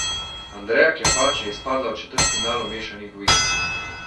Andreja Klepač je izpadla v četrtfinalu mešanih dvojic.